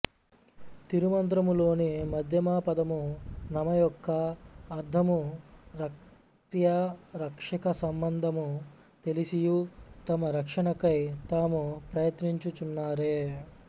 తిరుమంత్రము లోని మధ్యమపదము నమ యొక్క అర్థము రక్ర్యరక్షక సంబంధము తెలిసియు తమరక్షణకై తాము ప్రయత్నించు చున్నారే